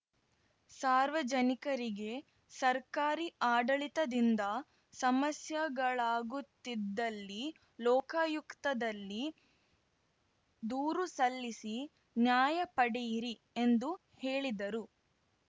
ಸಾರ್ವಜನಿಕರಿಗೆ ಸರ್ಕಾರಿ ಆಡಳಿತದಿಂದ ಸಮಸ್ಯೆಗಳಾಗುತ್ತಿದ್ದಲ್ಲಿ ಲೋಕಾಯುಕ್ತದಲ್ಲಿ ದೂರು ಸಲ್ಲಿಸಿ ನ್ಯಾಯ ಪಡೆಯಿರಿ ಎಂದು ಹೇಳಿದರು